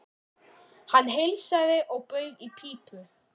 Hann heilsaði og bauð í pípu.